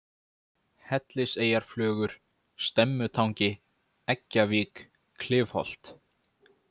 Helliseyjarflögur, Stemmutangi, Eggjavík, Klifholt